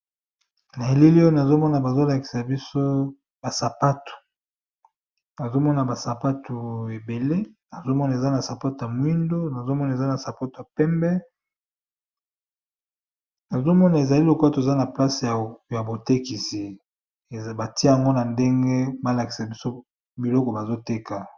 Na eleli oyo nazomona bazolakisa biso ba sapatu nazomona ba sapatu ebele nazomona eza na sapato ya mwindu nazomona eza na sapato ya pembe nazomona ezali lokola toza na place ya botekisi batia yango na ndenge balakisa biso biloko bazo teka.